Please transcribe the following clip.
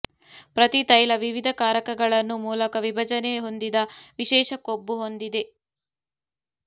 ಪ್ರತಿ ತೈಲ ವಿವಿಧ ಕಾರಕಗಳನ್ನು ಮೂಲಕ ವಿಭಜನೆ ಹೊಂದಿದ ವಿಶೇಷ ಕೊಬ್ಬು ಹೊಂದಿದೆ